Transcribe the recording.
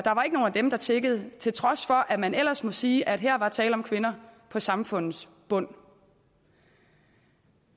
dem der tiggede til trods for at man ellers må sige at her var der tale om kvinder på samfundets bund